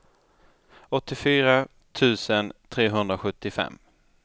åttiofyra tusen trehundrasjuttiofem